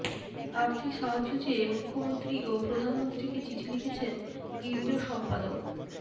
আর্থিক সাহায্য চেয়ে মুখ্যমন্ত্রী ও প্রধানমন্ত্রীকে চিঠি লিখেছেন গিল্ডের সম্পাদক